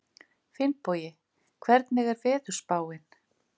Finnbogi, hvernig er veðurspáin?